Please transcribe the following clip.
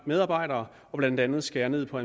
medarbejdere og blandt andet skære ned på